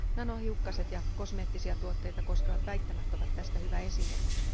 Nanohiukkaset ja kosmeettisia tuotteita koskevat väittämät ovat tästä hyvä esimerkki.